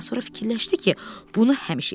amma sonra fikirləşdi ki, bunu həmişə eləyə bilər.